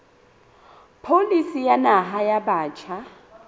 pholisi ya naha ya batjha